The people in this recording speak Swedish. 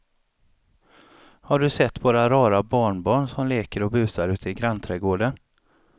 Har du sett våra rara barnbarn som leker och busar ute i grannträdgården!